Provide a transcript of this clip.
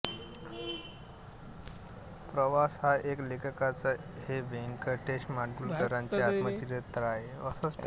प्रवास एक लेखकाचा हे व्यंकटेश माडगूळकरांचे आत्मचरित्र आहे